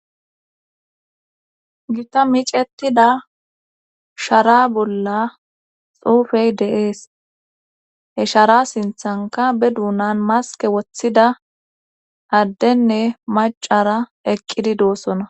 Gita micetida shara bolla xuufey deees he shara sinthanka be duunan maske woththida addenne macara eqqidi doossona.